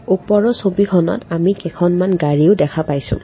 ওপৰৰ ছবিখনত আমি কেইখনমান গাড়ীও দেখা পাইছোঁ।